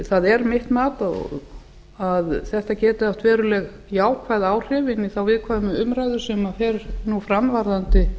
það er mitt mat að þetta geti haft veruleg jákvæð áhrif inn í þá viðkvæmu umræðu sem fer nú fram varðandi